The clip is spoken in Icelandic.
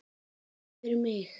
Ekki fyrir mig!